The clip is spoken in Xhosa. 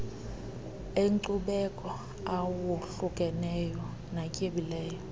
enkcubeko awohlukeneyo natyebileyo